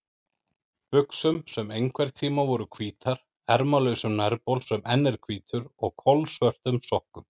buxum sem einhverntíma voru hvítar, ermalausum nærbol sem enn er hvítur og kolsvörtum sokkum.